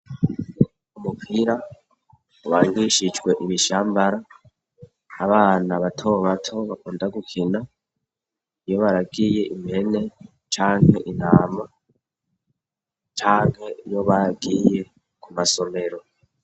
Umupira ubangishijwe ibishambara, abana bato bato bakunda gukina iyo baragiye impene canke intama canke iyo bagiye ku masomero.